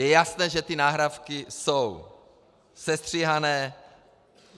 Je jasné, že ty nahrávky jsou sestříhané.